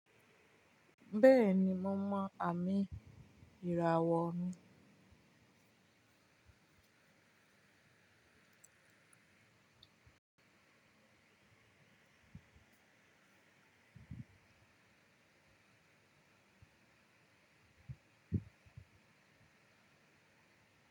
Bẹ́ẹ̀ni, mo mọ àmì ìràwọ̀ mi.